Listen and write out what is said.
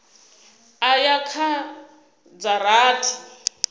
u ya kha dza rathi